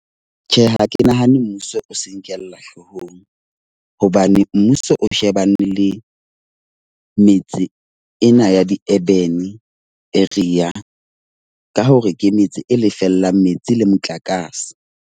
Tjhe, ha ke nahane mmuso o se nkela hloohong. Hobane mmuso o shebane le metse ena ya di-urban area. Ka hore ke metse e lefellang metsi le motlakase.